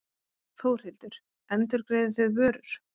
Þórhildur: Endurgreiðið þið vörur?